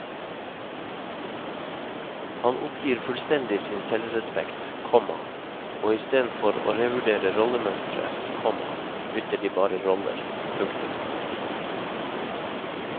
Han oppgir fullstendig sin selvrespekt, komma og istedenfor å revurdere rollemønsteret, komma bytter de bare roller. punktum